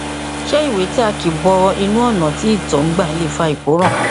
ṣé ìwé tí a kì bọ inú ọnà tí ìtọ ń gbà lè fa ìkóràn